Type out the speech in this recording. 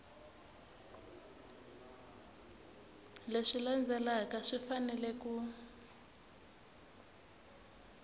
leswi landzelaka swi fanele ku